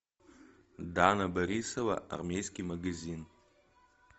дана борисова армейский магазин